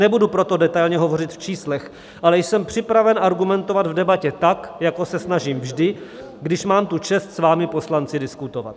Nebudu proto detailně hovořit v číslech, ale jsem připraven argumentovat v debatě tak, jako se snažím vždy, když mám tu čest s vámi poslanci diskutovat.